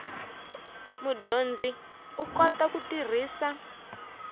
mudyondzi u kota ku tirhisa